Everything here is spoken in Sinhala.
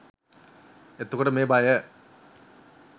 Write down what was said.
එතකොට මේ බය